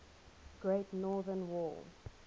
great northern war